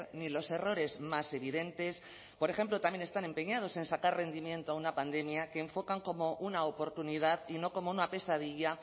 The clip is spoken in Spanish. ni los errores más evidentes por ejemplo también están empeñados en sacar rendimiento a una pandemia que enfocan como una oportunidad y no como una pesadilla